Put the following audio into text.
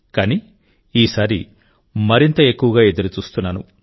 కానీ ఈసారి మరింత ఎక్కువగా ఎదురుచూస్తున్నాను